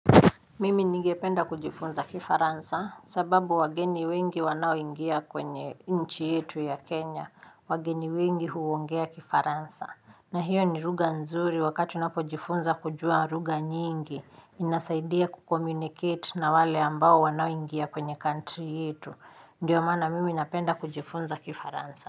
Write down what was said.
Mimi nigependa kujifunza kifaransa sababu wageni wengi wanao ingia kwenye nchi yetu ya Kenya, wageni wengi huwongea kifaransa. Na hiyo ni rugha nzuri wakatu napo jifunza kujua ruga nyingi, inasaidia kukomunicate na wale ambao wanaoingia kwenye country yetu. Ndiyo mana mimi napenda kujifunza kifaransa.